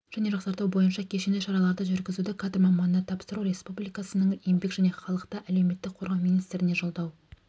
және жақсарту бойынша кешенді шараларды жүргізуді кадр маманына тапсыру республикасының еңбек және халықты әлеуметтік қорғау министрлігіне жолдау